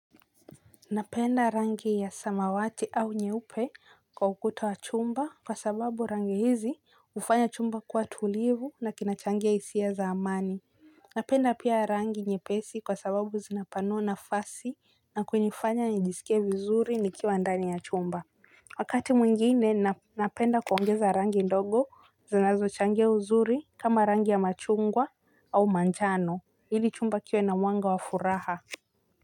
Napenda rangi ya samawati au nyeupe kwa ukuta wa chumba kwa sababu rangi hizi hufanya chumba kuwa tulivu na kinachangia hisia za amani. Napenda pia rangi nyepesi kwa sababu zinapanua nafasi na kunifanya nijisikie vizuri nikiwa ndani ya chumba. Wakati mwingine napenda kuongeza rangi ndogo zinazochangia uzuri kama rangi ya machungwa au manjano ili chumba kiwe na mwanga wa furaha.